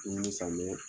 Dumuni san bɛ